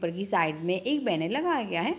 ऊपर की साइड में एक बैनर लगाया गया है।